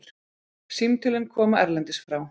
Símtölin koma erlendis frá.